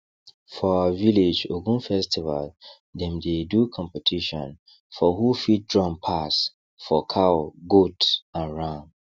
for our village ogun festival dem dey do competition for who fit drum pass for cow goat and ram